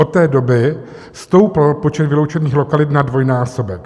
Od té doby stoupl počet vyloučených lokalit na dvojnásobek.